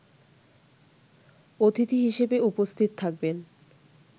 অতিথি হিসেবে উপস্থিত থাকবেন